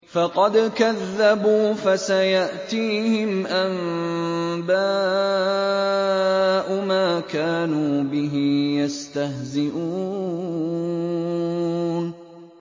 فَقَدْ كَذَّبُوا فَسَيَأْتِيهِمْ أَنبَاءُ مَا كَانُوا بِهِ يَسْتَهْزِئُونَ